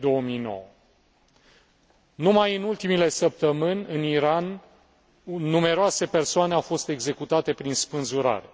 2009. Numai în ultimele săptămâni, în Iran numeroase persoane au fost executate prin spânzurare.